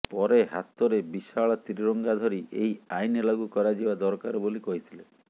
ପରେ ହାତରେ ବିଶାଳ ତ୍ରିରଙ୍ଗା ଧରି ଏହି ଆଇନ ଲାଗୁ କରାଯିବା ଦରକାର ବୋଲି କହିଥିଲେ